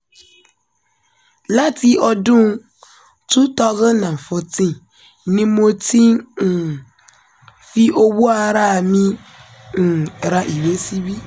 láti ọdún 2014 ni mo ti ń um fi owó ara mi um ra ìwé síbí